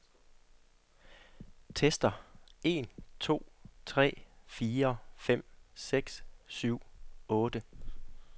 Tester en to tre fire fem seks syv otte.